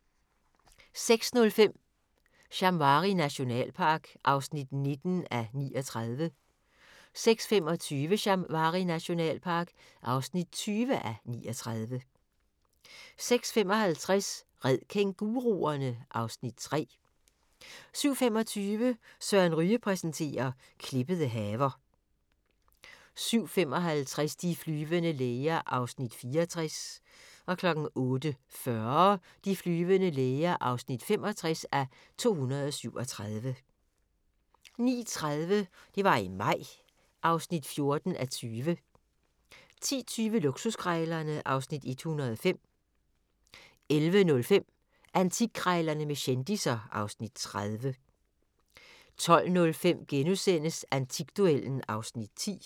06:05: Shamwari nationalpark (19:39) 06:25: Shamwari nationalpark (20:39) 06:55: Red kænguruerne! (Afs. 3) 07:25: Søren Ryge præsenterer - klippede haver 07:55: De flyvende læger (64:237) 08:40: De flyvende læger (65:237) 09:30: Det var i maj (14:20) 10:20: Luksuskrejlerne (Afs. 105) 11:05: Antikkrejlerne med kendisser (Afs. 30) 12:05: Antikduellen (Afs. 10)*